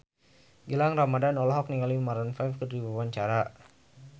Gilang Ramadan olohok ningali Maroon 5 keur diwawancara